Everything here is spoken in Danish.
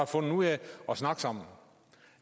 fundet ud af at snakke sammen